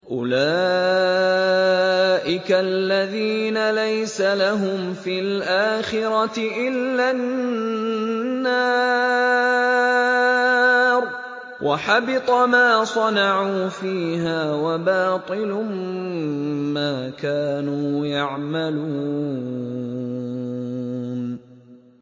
أُولَٰئِكَ الَّذِينَ لَيْسَ لَهُمْ فِي الْآخِرَةِ إِلَّا النَّارُ ۖ وَحَبِطَ مَا صَنَعُوا فِيهَا وَبَاطِلٌ مَّا كَانُوا يَعْمَلُونَ